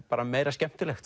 meira skemmtilegt